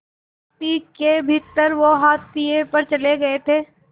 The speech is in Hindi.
पार्टी के भीतर वो हाशिए पर चले गए थे